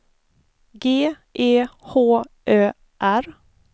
G E H Ö R